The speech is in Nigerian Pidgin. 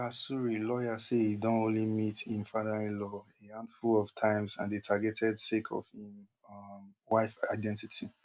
oga suri lawyers say e don only meet im fatherinlaw a handful of times and dey targeted sake of im um wife identity